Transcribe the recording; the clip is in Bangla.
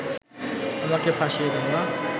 আমাকে ফাঁসিয়ে দেওয়া